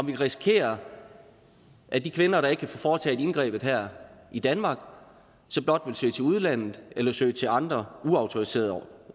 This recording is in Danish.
kan risikere at de kvinder der ikke kan få foretaget indgrebet her i danmark så blot vil søge til udlandet eller søge til andre uautoriserede